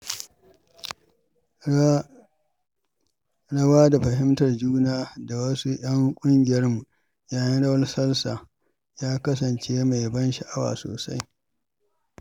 Rawa da fahimtar juna da wasu ƴan ƙungiyarmu yayin rawar salsa ya kasance mai ban sha’awa sosai.